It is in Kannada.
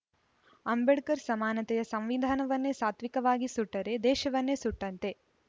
ಅಂಬೇಡ್ಕರ್‌ ಸಮಾನತೆಯ ಸಂವಿಧಾನವನ್ನೇ ಸಾತ್ವಿಕವಾಗಿ ಸುಟ್ಟರೆ ದೇಶವನ್ನೇ ಸುಟ್ಟಂತೆ